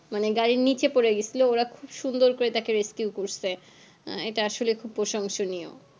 মানে গাড়ির নিচে পরে গিয়েছিলো ওরা খুব সুন্দর করে তাকে rescue করেছে এটা আসলে খুব প্রশংসনীয়